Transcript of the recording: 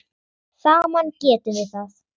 Saman getum við það.